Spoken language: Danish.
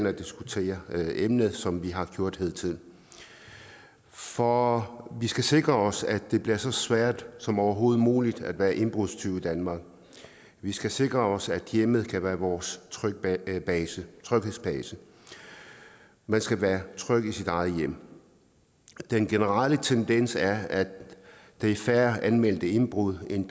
at diskutere emnet som vi har gjort hidtil for vi skal sikre os at det bliver så svært som overhovedet muligt at være indbrudstyv i danmark og vi skal sikre os at hjemmet kan være vores tryghedsbase tryghedsbase man skal være tryg i sit eget hjem den generelle tendens er at der er færre anmeldte indbrud end